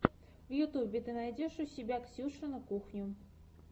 в ютьюбе ты найдешь у себя ксюшину кухню